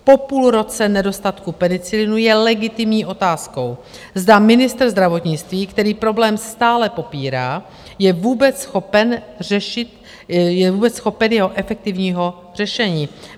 Po půl roce nedostatku penicilinu je legitimní otázkou, zda ministr zdravotnictví, který problém stále popírá, je vůbec schopen jeho efektivního řešení?